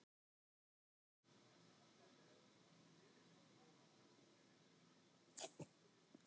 Á blómaskeiðum verða framfarir og nýir angar spretta upp.